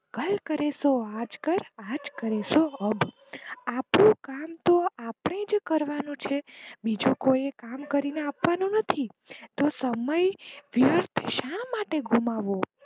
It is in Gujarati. કલ કરે સો આજ કર, આજ કરે સો અબ, આપણું કામ તો આપડે જ કરવાનું છે બીજું કોઈ કામ કરીને આપવાનું નથી તો સમય વ્યર્થ શા માટે ગુમાવો